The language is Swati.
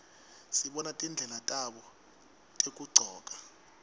sibona tindlela tabo tekugcoka